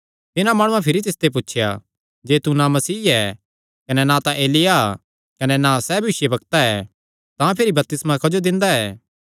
तिन्हां माणुआं भिरी तिसते पुछया जे तू ना मसीह ऐ कने ना तां एलिय्याह कने ना सैह़ भविष्यवक्ता ऐ तां भिरी बपतिस्मा क्जो दिंदा ऐ